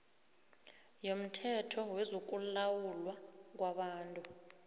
yomthetho wezokulawulwa kwabantu